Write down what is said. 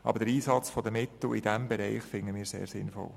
Aber den Einsatz der Mittel in diesem Bereich finden wir sehr sinnvoll.